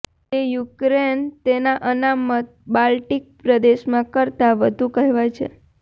તે યુક્રેન તેના અનામત બાલ્ટિક પ્રદેશમાં કરતાં વધુ કહેવાય છે